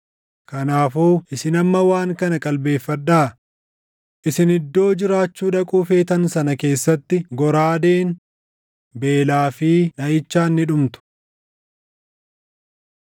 Kanaafuu isin amma waan kana qalbeeffadhaa: Isin iddoo jiraachuu dhaquu feetan sana keessatti goraadeen, beelaa fi dhaʼichaan ni dhumtu.”